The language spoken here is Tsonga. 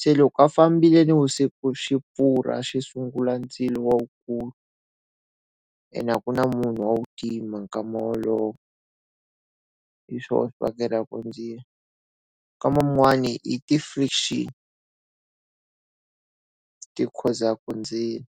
Se loko a fambile nivusiku xi pfurha xi sungula ndzilo lowu kulu. Ene a ku na munhu wa ku tima nkarhi wolowo. Hiswona swi vangelaka ndzilo. Nkarhi wun'wana i ti-friction ti khosaka ndzilo.